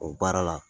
O baara la